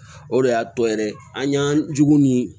O de y'a to yɛrɛ an y'an jugu ni